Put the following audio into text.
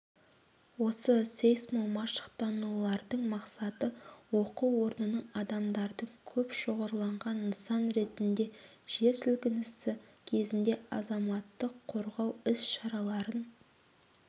осы сейсмомашықтанулардың мақсаты оқу орнының адамдардың көп шоғырланған нысан ретінде жер сілкінісі кезінде азаматтық қорғау іс-шараларын